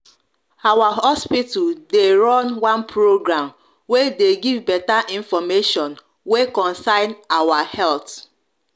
our hospital de run one program wey de give beta information wey concern our health